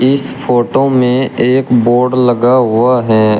इस फोटो में एक बोर्ड लगा हुआ है।